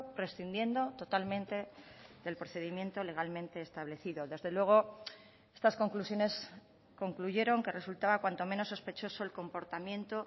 prescindiendo totalmente del procedimiento legalmente establecido desde luego estas conclusiones concluyeron que resultaba cuanto menos sospechoso el comportamiento